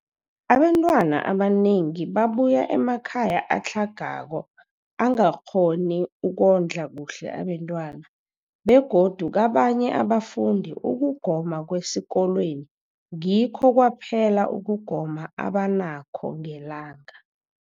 Abantwana abanengi babuya emakhaya atlhagako angakghoni ukondla kuhle abentwana, begodu kabanye abafundi, ukugoma kwesikolweni ngikho kwaphela ukugoma abanakho ngelanga.